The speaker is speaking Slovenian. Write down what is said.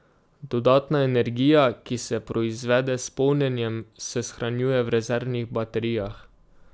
Dodatna energija, ki se proizvede s polnjenjem, se shranjuje v rezervnih baterijah.